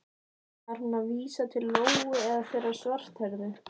Var hún að vísa til Lóu eða þeirrar svarthærðu?